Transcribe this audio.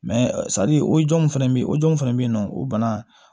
sari o jow fɛnɛ be ye o jɔnw fɛnɛ be yen nɔ o bana